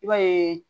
I b'a yeee